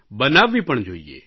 બનાવવી પણ જોઇએ